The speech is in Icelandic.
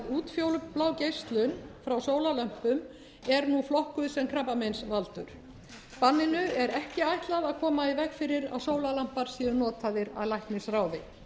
útfjólublá geislun frá sólarlömpum er nú flokkuð sem krabbameinsvaldur banninu er ekki ætlað að koma í veg fyrir að sólarlampar séu notaðar að læknisráði